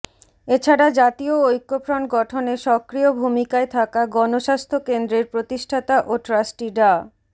এছাড়া জাতীয় ঐক্যফ্রন্ট গঠনে সক্রিয় ভূমিকায় থাকা গণস্বাস্থ্য কেন্দ্রের প্রতিষ্ঠাতা ও ট্রাস্টি ডা